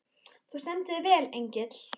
Þú stendur þig vel, Engill!